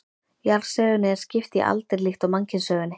Jarðsögunni er skipt í aldir líkt og mannkynssögunni.